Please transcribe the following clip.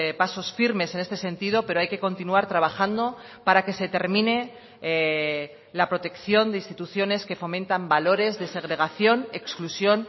pasos firmes en este sentido pero hay que continuar trabajando para que se termine la protección de instituciones que fomentan valores de segregación exclusión